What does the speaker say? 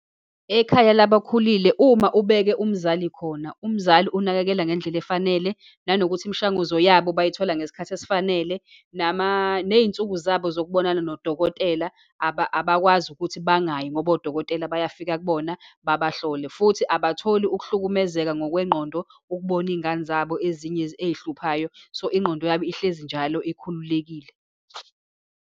Ekhaya labakhulile, uma ubeke umzali khona, umzali unakekela ngendlela efanele, nanokuthi imishanguzo yabo bayithola ngesikhathi esifanele, neyinsuku zabo zokubonana nodokotela abakwazi ukuthi bangayi, ngoba odokotela bayafika kubona babahlole. Futhi abatholi ukuhlukumezeka ngokwengqondo ukubona iy'ngane zabo ezinye eyihluphayo. So, ingqondo yabo ihlezi njalo ikhululekile.